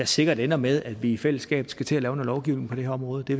sikkert ender med at vi i fællesskab skal til at lave noget lovgivning på det her område det